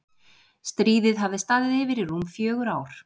Stríðið hafði staðið yfir í rúm fjögur ár.